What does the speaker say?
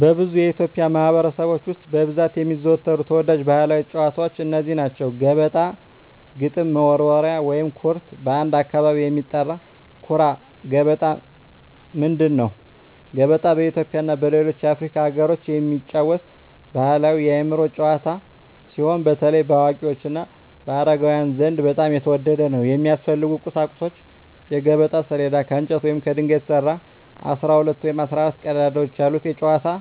በብዙ የኢትዮጵያ ማኅበረሰቦች ውስጥ በብዛት የሚዘወተሩ ተወዳጅ ባሕላዊ ጨዋታዎች እነዚህ ናቸው፦ ገበጣ ግጥም መወርወሪያ / ኩርት (በአንዳንድ አካባቢ የሚጠራ) ኩራ ገበጣ ምንድን ነው? ገበጣ በኢትዮጵያ እና በሌሎች የአፍሪካ አገሮች የሚጫወት ባሕላዊ የአእምሮ ጨዋታ ሲሆን፣ በተለይ በአዋቂዎች እና በአረጋውያን ዘንድ በጣም የተወደደ ነው። የሚያስፈልጉ ቁሳቁሶች የገበጣ ሰሌዳ: ከእንጨት ወይም ከድንጋይ የተሰራ፣ 12 ወይም 14 ቀዳዳዎች ያሉት የጨዋታው